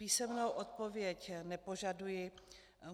Písemnou odpověď nepožaduji.